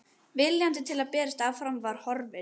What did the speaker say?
Viljinn til að berjast áfram var horfinn.